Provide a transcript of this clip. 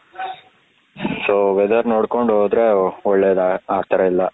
so weather ನೋಡ್ಕೊಂಡು ಹೋದ್ರೆ ಒಳ್ಳೇದು ಆತರ ಎಲ್ಲ.